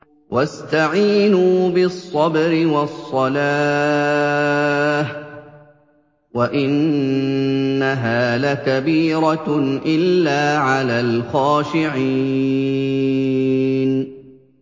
وَاسْتَعِينُوا بِالصَّبْرِ وَالصَّلَاةِ ۚ وَإِنَّهَا لَكَبِيرَةٌ إِلَّا عَلَى الْخَاشِعِينَ